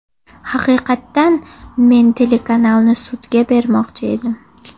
Haqiqatan men telekanalni sudga bermoqchi edim.